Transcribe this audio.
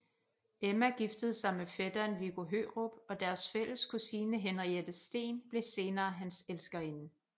Emma giftede sig med fætteren Viggo Hørup og deres fælles kusine Henriette Steen blev senere hans elskerinde